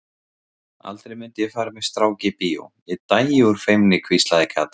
Aldrei mundi ég fara með strák í bíó, Ég dæi úr feimni hvíslaði Kata.